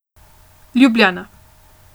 Ljubljana.